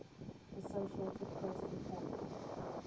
associated press reported